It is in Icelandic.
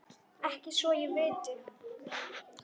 Ekki svo ég viti.